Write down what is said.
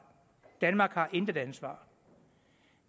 danmark har intet ansvar